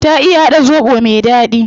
Ta iya hada zobo me dadi